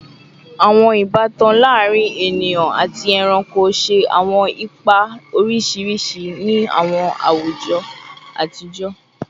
Awọn ibatan laarin eniyan ati ẹranko ṣe awọn ipa oriṣiriṣi ni awọn awujọ atijọ